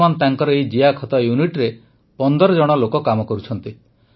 ବର୍ତ୍ତମାନ ତାଙ୍କର ଏହି ଜିଆଖତ ୟୁନିଟରେ ୧୫ ଜଣ ଲୋକ କାମ କରୁଛନ୍ତି